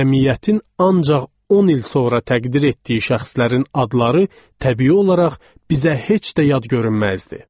Cəmiyyətin ancaq 10 il sonra təqdir etdiyi şəxslərin adları təbii olaraq bizə heç də yad görünməzdi.